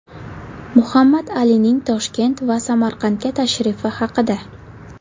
Muhammad Alining Toshkent va Samarqandga tashrifi haqida.